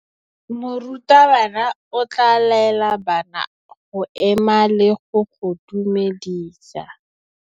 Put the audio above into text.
Morutabana o tla laela bana go ema le go go dumedisa.